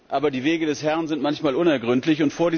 Aber die Wege des Herrn sind manchmal unergründlich.